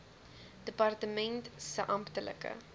departement se amptelike